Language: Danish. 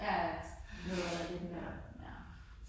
Ja ja, noget der er lidt mere ja